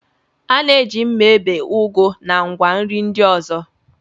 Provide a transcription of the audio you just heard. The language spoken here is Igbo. A na-eji mma ebe ugu na ngwa nri ndị ọzọ.